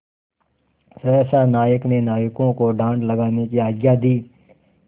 सहसा नायक ने नाविकों को डाँड लगाने की आज्ञा दी